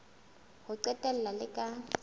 ho qetela le le ka